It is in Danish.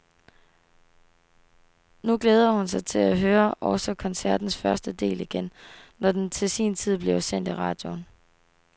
Nu glæder hun sig til at høre også koncertens første del igen, når den til sin tid bliver sendt i radioen.